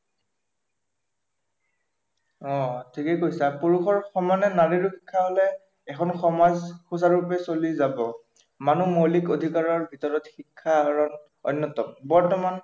অ ঠিকেই কৈছা পুৰুষৰ সমানে নাৰীৰো শিক্ষা হলে এখন সমাজ সুচাৰুৰূপে চলি যাব, মানুহৰ মৌলিক অধিকাৰৰ ভিতৰত শিক্ষা অন্য়তম